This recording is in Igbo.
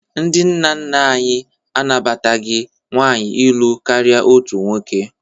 Ndị nna nna anyị anabataghị nwaanyị ịlụ karịa otu nwoke